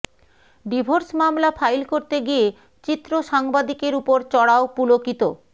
divorce মামলা file করতে গিয়ে চিত্রসাংবাদিকের উপর চড়াও পুলকিত